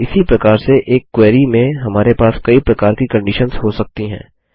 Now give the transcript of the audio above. और इसी प्रकार से एक क्वेरी में हमारे पास कई प्रकार की कंडिशन्स हो सकती हैं